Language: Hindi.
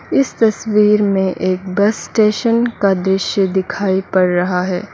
इस तस्वीर में एक बस स्टेशन का दृश्य दिखाई पड़ रहा है।